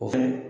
O fɛnɛ